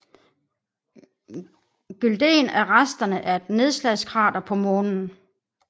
Gyldén er resterne af et nedslagskrater på Månen